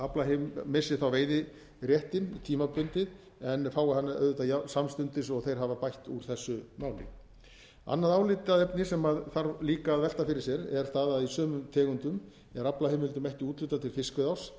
menn missi veiðiréttinn tímabundið en fái hann auðvitað samstundis og þeir hafa bætt úr þessu máli annað álitaefni sem þarf líka að velta fyrir sér er það að í sumum tegundum er aflaheimildum ekki úthlutað til fiskveiðiárs